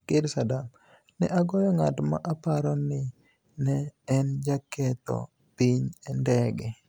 Ker Saadam: ni e agoyo nig'at ma aparo nii ni e eni jaketho piniy e nidege